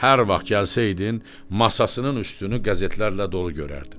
Hər vaxt gəlsəydin, masasının üstünü qəzetlərlə dolu görərdin.